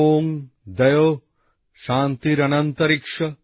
ওম দয়ৌঃ শান্তি শান্তিরন্তরিক্ষ